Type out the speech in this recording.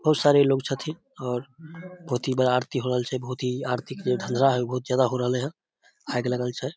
बहुत सारे लोग छथिन और बहुत ही बड़ा आरती हो रहल छै बहुत ही आरती के धधरा हई बहुत ज्यादा हो रहले हन आग लगल छै।